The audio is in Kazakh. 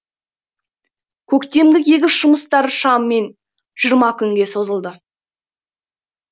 көктемгі егіс жұмыстары шамамен жиырма күнге созылды